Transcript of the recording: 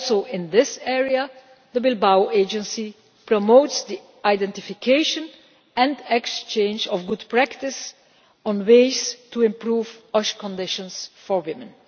In this area also, the Bilbao Agency promotes the identification and exchange of good practice on ways to improve OSH conditions for women.